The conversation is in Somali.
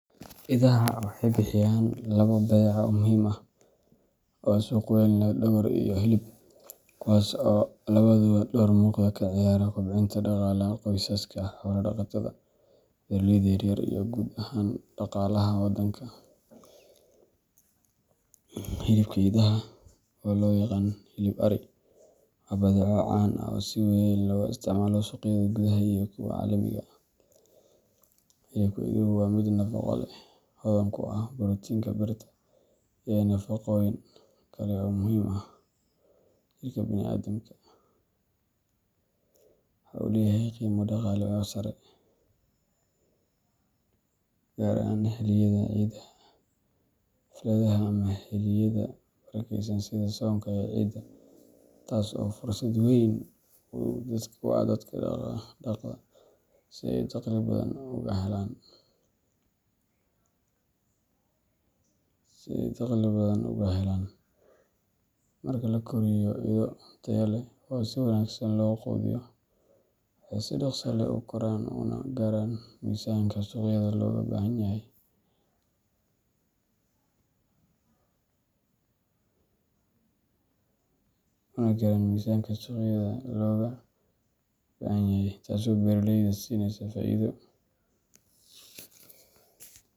Idaha waxay bixiyaan labo badeeco oo muhiim ah oo suuq weyn leh dhogor iyo hilib kuwaas oo labaduba door muuqda ka ciyaara kobcinta dhaqaalaha qoysaska xoolo-dhaqatada ah, beeraleyda yar yar, iyo guud ahaan dhaqaalaha waddanka. Hilibka idaha, oo loo yaqaan “hilib arri”, waa badeeco caan ah oo si weyn looga isticmaalo suuqyada gudaha iyo kuwa caalamiga ah. Hilibka iduhu waa mid nafaqo leh, hodan ku ah borotiinka, birta, iyo nafaqooyin kale oo muhiim u ah jirka bini’aadamka. Waxa uu leeyahay qiimo dhaqaale oo sare, gaar ahaan xilliyada ciidaha, xafladaha, ama xilliyada barakeysan sida soonka iyo ciida, taas oo fursad weyn u ah dadka dhaqda si ay dakhli badan uga helaan. Marka la koriyo ido tayo leh oo si wanaagsan loo quudiyo, waxay si dhakhso leh u koraan una gaaraan miisaanka suuqyada looga baahanyahay, taasoo beeraleyda siineysa faa’iido.